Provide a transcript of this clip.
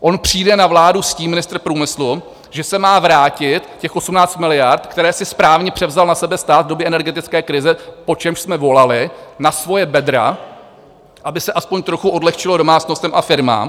On přijde na vládu s tím - ministr průmyslu - že se má vrátit těch 18 miliard, které si správně převzal na sebe stát v době energetické krize, po čemž jsme volali, na svoje bedra, aby se aspoň trochu odlehčilo domácnostem a firmám.